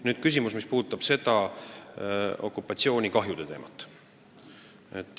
Nüüd küsimus, mis puudutab okupatsioonikahjude hüvitamist.